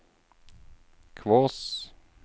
Kvås